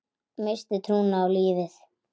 Missti trúna á lífið.